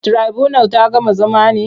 Tirabunal ta gama zama ne?